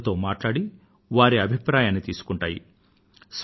పౌరులతో మాట్లాడి మరియు వారి అభిప్రాయాన్ని తీసుకుంటాయి